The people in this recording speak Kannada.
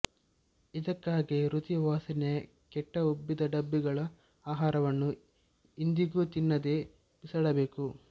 ಇದಕ್ಕಾಗೇ ರುಚಿ ವಾಸನೆ ಕೆಟ್ಟ ಉಬ್ಬಿದ ಡಬ್ಬಿಗಳ ಆಹಾರವನ್ನು ಎಂದಿಗೂ ತಿನ್ನದೆ ಬಿಸಾಡಬೇಕು